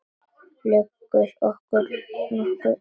Liggur okkur nokkuð á?